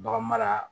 Bagan mara